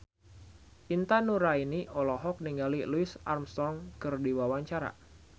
Intan Nuraini olohok ningali Louis Armstrong keur diwawancara